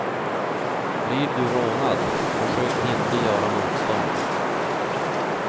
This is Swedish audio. Blir du rånad, försök inte göra motstånd.